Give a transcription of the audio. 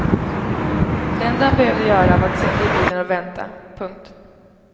Det enda han behövde göra var att sitta i bilen och vänta. punkt